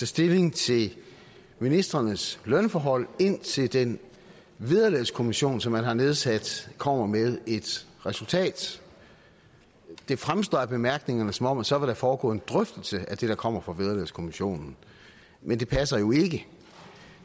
stilling til ministrenes lønforhold indtil den vederlagskommission som man har nedsat kommer med et resultat det fremstår af bemærkningerne som om der så vil foregå en drøftelse af det der kommer fra vederlagskommissionen men det passer jo ikke